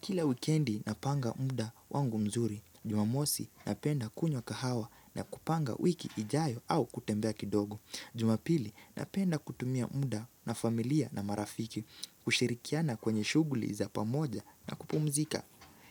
Kila wikendi napanga muda wangu mzuri. Jumamosi napenda kunywa kahawa na kupanga wiki ijayo au kutembea kidogo. Jumapili napenda kutumia muda na familia na marafiki, kushirikiana kwenye shughuli za pamoja na kupumzika.